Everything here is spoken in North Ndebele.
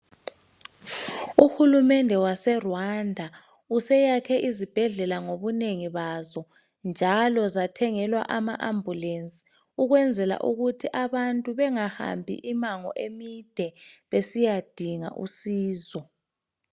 Uhulumende waseRwanda useyakhe izibhedlela ngobunengi bazi njalo bathengelwa ama ambulense ukwenzela ukuthi abantu bangahambi imango emide besiyadinga usizo.